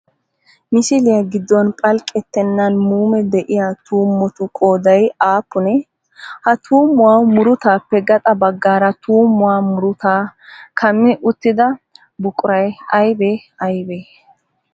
Misiliyaa giddon phalqqettennan muume de'iyaa tuummotu qooday aappunee? Ha tuummuwaa murutaappe gaxa baggaara tuummuwaa murutaa kammi uttida buquray aybee aybee?